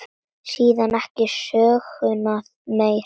Síðan ekki söguna meir.